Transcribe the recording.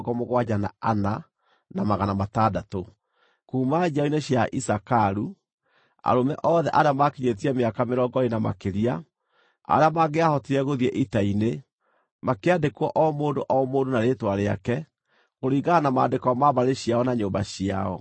Kuuma njiaro-inĩ cia Isakaru: Arũme othe arĩa maakinyĩtie mĩaka mĩrongo ĩĩrĩ na makĩria, arĩa mangĩahotire gũthiĩ ita-inĩ, makĩandĩkwo o mũndũ o mũndũ na rĩĩtwa rĩake, kũringana na maandĩko ma mbarĩ ciao na nyũmba ciao.